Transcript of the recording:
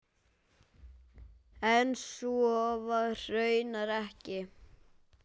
En svo var raunar ekki.